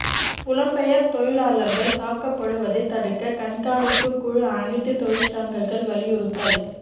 புலம்பெயர்ந்த தொழிலாளர்கள் தாக்கப்படுவதை தடுக்க கண்காணிப்பு குழு அனைத்து தொழிற்சங்கங்கள் வலியுறுத்தல்